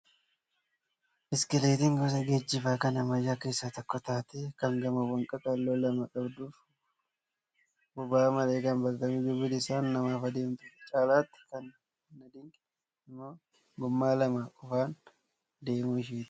Biskileetin gosa geejjibaa kan ammayyaa keessaa tokko taatee kan gommaawwan qaqal'oo lama qabduu fi boba'aa malee kan bakka kamiyyuu bilisaan namaaf adeemtudha. Caalaatti kan na dinqe immoo gommaa lama qofaan deemuu isheeti